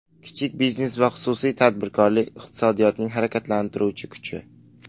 Kichik biznes va xususiy tadbirkorlik iqtisodiyotning harakatlantiruvchi kuchi.